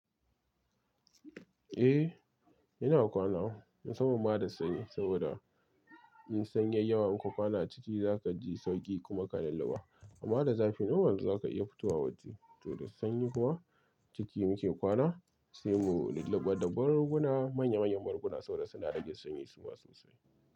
Eh, ina kwana musamman ma da sanyi. Saboda in sanyi yayi yawa, in kuwa kwana ciki, za ka ji sauƙi kuma ka lulluba. Amma da zafi, normal za ka iya fito wa waje. To da sanyi kuma ciki muke kwana, sai mu lulluɓa da barruguna manya manyan barguna saboda suna rage sanyi suma sosai.